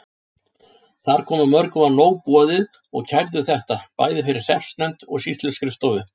Þar kom að mörgum var nóg boðið og kærðu þetta, bæði fyrir hreppsnefnd og sýsluskrifstofu.